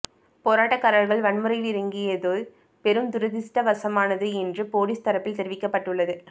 போராட்டக்காரர்கள் வன்முறையில் இறங்கியது பெரும் துரதிருஷ்டவசமானது என்று போலீஸ் தரப்பில் தெரிவிக்கப்பட்டுள்ளது